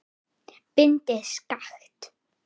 Bindið skakkt.